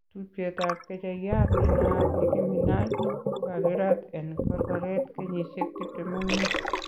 Tupchet ab kecheiyat nenaat Nicky Minaj kokakirat en korkoret kenyisiek 25.